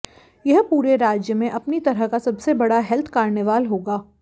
यह पूरे राज्य में अपनी तरह का सबसे बड़ा हेल्थ कार्निवाल होगा